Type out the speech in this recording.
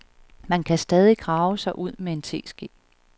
Man kan stadig grave sig ud med en teske.